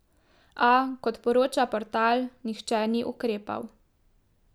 A, kot poroča portal, nihče ni ukrepal.